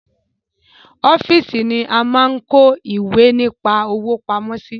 Ọ́fíìsì ni a máa ń kọ́ ìwé nípa òwò pamọ́ sí